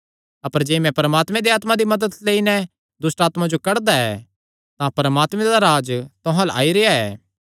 अपर जे मैं परमात्मे दे आत्मा दी मदत लेई नैं दुष्टआत्मां जो कड्डदा ऐ तां परमात्मे दा राज्ज तुहां अल्ल आई रेह्आ ऐ